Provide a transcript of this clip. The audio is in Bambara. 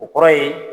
O kɔrɔ ye